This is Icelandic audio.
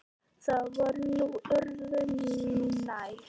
Það var nú öðru nær.